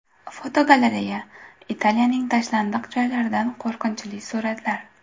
Fotogalereya: Italiyaning tashlandiq joylaridan qo‘rqinchli suratlar.